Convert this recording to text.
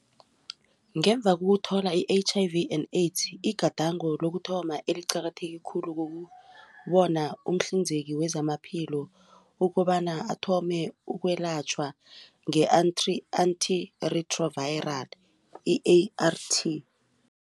Ngemva kokuthola i-H_I_V and AIDS igadango lokuthoma eliqakatheke khulu ukubona umhlinzeki wezamaphilo ukobana athome ukwelatjhelwa nge-Antiretroviral i-ART.